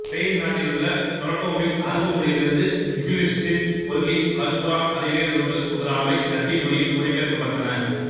Spain நாட்டிலுள்ள டொலடோவில் அரபு மொழியிலிருந்த யுகிலிட்ஸின் கொள்கைகள்குரான்அறிவியல் நூல்கள் முதலானவை இலத்தீன் மொழியில் மொழிபெயர்க்கப்பட்டன